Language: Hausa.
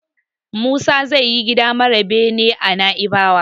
Musa zai yi gida mara bene a Naibawa.